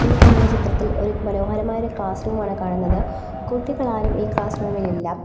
ഈ കാണുന്ന ചിത്രത്തിൽ ഒരു മനോഹരമായ ഒരു ക്ലാസ് റൂം ആണ് കാണുന്നത് കുട്ടികളാരും ഈ ക്ലാസ് റൂം ഇൽ ഇല്ല.